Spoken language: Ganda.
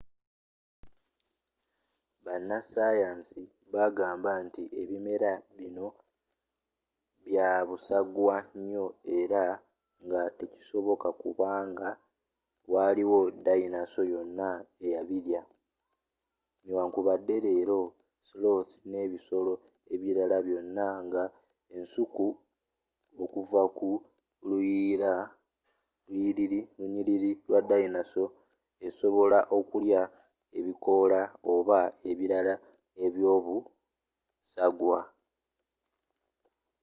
bana sayansi bagamba nti ebimera bino bya busagwa nnyo era nga tekisoboka kuba nga waliwo ddayinaso yonna eya birya newankubadde leero sloth n’ebisolo ebirala byonna nga ensuku okuva mu lunyiriri lwa dayinaso esobola okulya ebikoola oba ebibala ebyobusagwa